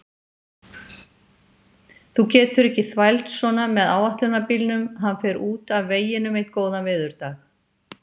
Þú getur ekki þvælst svona með áætlunarbílnum, hann fer út af veginum einn góðan veðurdag.